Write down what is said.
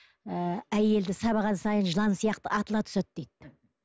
ы әйелді сабаған сайын жылан сияқты атыла түседі дейді